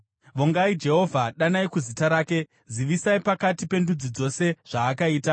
Vongai Jehovha, danai kuzita rake; zivisai pakati pendudzi dzose zvaakaita.